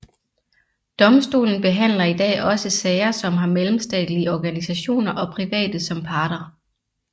Domstolen behandler i dag også sager som har mellemstatlige organisationer og private som parter